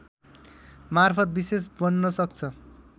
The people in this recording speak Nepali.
मार्फत विशेष बन्न सक्छ